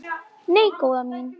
Nei, góða mín.